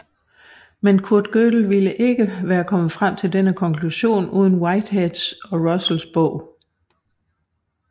Men Kurt Gödel ville ikke have kommet frem til denne konklusion uden Whiteheads og Russells bog